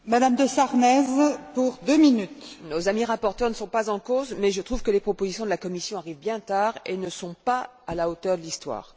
Madame la Présidente, nos amis rapporteurs ne sont pas en cause, mais je trouve que les propositions de la Commission arrivent bien tard et ne sont pas à la hauteur de l'histoire.